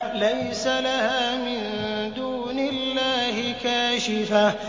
لَيْسَ لَهَا مِن دُونِ اللَّهِ كَاشِفَةٌ